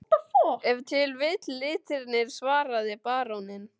Ef til vill litirnir, svaraði baróninn.